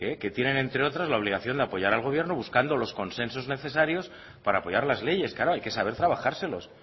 que tienen entre otros la obligación de apoyar al gobierno buscando los consensos necesarios para apoyar las leyes claro hay que saber trabajárselos